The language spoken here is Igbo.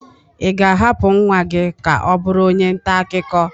Ị ga-ahapụ nwa gị ka ọ bụrụ onye nta akụkọ?